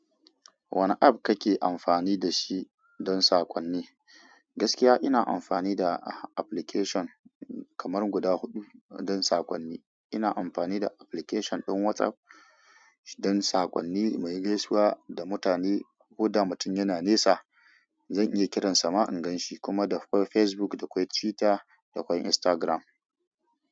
Wane app kake amfani da shi don saƙonni? Gaskiya, ina amfani da application kamar guda huɗu don sakonni. Ina amfani da application ɗin WhatsApp don saƙonni mu yi gaisuwa da mutane ko da mutum yana nesa, zan iya ƙiran sa ma in gan shi, kuma akwai Facebook, akwai Twitter, da akwai Instagram.